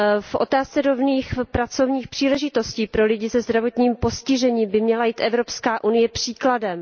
V otázce rovných pracovních příležitostí pro lidi se zdravotním postižením by měla jít Evropská unie příkladem.